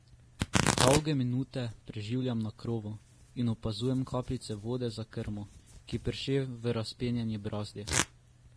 Dolge minute preživljam na krovu in opazujem kapljice vode za krmo, ki prše v razpenjeni brazdi.